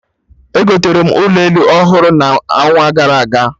Egotere m ụlọ elu ọhụrụ n'ọnwa gara aga